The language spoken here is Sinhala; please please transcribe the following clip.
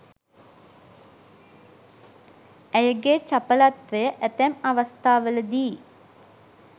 ඇයගේ චපලත්වය ඇතැම් අවස්ථාවලදී